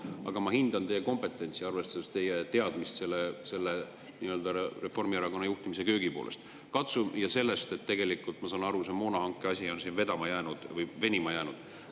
Aga ma hindan teie kompetentsi, arvestades teie teadmisi Reformierakonna juhtimise köögipoolest ja sellest, et tegelikult, nagu ma aru saan, on see moonahanke asi venima jäänud.